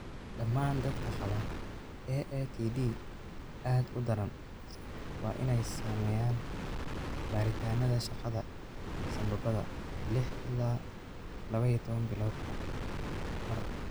Dhammaan dadka qaba AATD aad u daran waa inay sameeyaan baaritaannada shaqada sambabada 6 ilaa 12 biloodba mar.